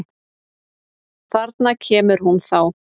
Þarna kemur hún þá!